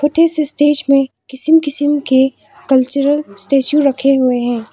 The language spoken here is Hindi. छोटे से स्टेज में किसिम किसिम के कल्चरल स्टैचू रखे हुए हैं।